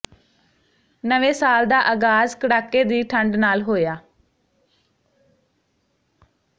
ਨਵੇਂ ਸਾਲ ਦਾ ਆਗਾਜ਼ ਕੜਾਕੇ ਦੀ ਠੰਡ ਨਾਲ ਹੋਇਆ